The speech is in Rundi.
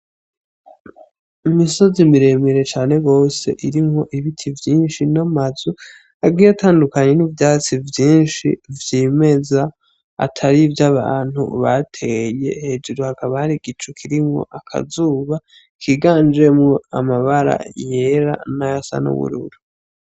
Imisozi miremire cane gose irimwo ibiti vyinshi n'amazu agiye atandukanye n'ivyatsi vyinshi vyimeza atari ivyo abantu bateye hejuru hakaba hari igicu kirimwo akazuba kiganjemwo amabara yera n'ayasa n'ubururu.